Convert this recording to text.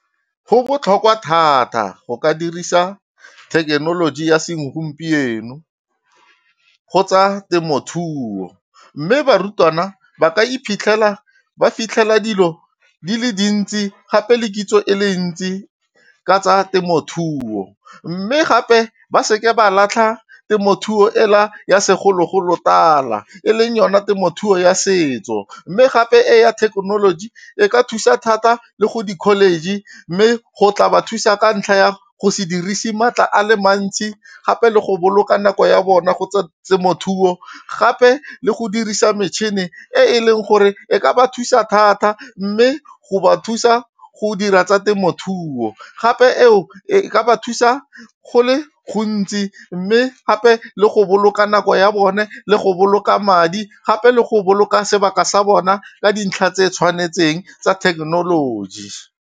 Go botlhokwa thata go ka dirisa thekenoloji ya segompieno go tsa temothuo. Mme barutwana ba ka iphitlhela ba fitlhela dilo di le dintsi gape le kitso e le ntsi ka tsa temothuo. Mme gape ba seke ba latlha temothuo e la ya segologolo tala, e leng yona temothuo ya setso. Mme gape e ya thekenoloji e ka thusa thata le go di-college, mme go tla ba thusa ka ntlha ya go se dirise maatla a le mantsi. Gape le go boloka nako ya bona go temothuo, gape le go dirisa metšhini e e leng gore e ka ba thusa thata, mme go ba thusa go dira tsa temothuo. Gape eo e e ka ba thusa go le gontsi mme gape le go boloka nako ya bone le go boloka madi, gape le go boloka sebaka sa bona ka dintlha tse di tshwanetseng tsa thekenoloji.